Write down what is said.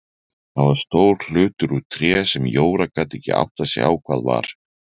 Það var stór hlutur úr tré sem Jóra gat ekki áttað sig á hvað var.